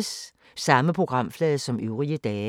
Samme programflade som øvrige dage